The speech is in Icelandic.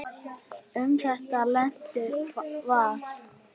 Um þetta leyti var